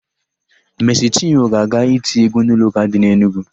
Meesị Chinwọ ga-aga iti égwú n'ụlọụ́kà dị n'Enugwu.